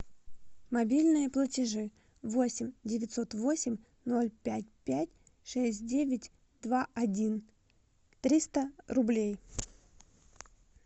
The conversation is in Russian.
мобильные платежи восемь девятьсот восемь ноль пять пять шесть девять два один триста рублей